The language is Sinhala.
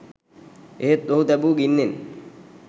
එහෙත් ඔහු තැබූ ගින්නෙන්